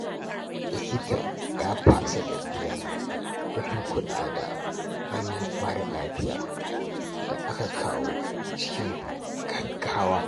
Likita ya fasa tafiya domin kula da wani mara lafiya da aka kawo cikin gaggawa.